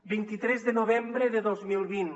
vint tres de novembre de dos mil vint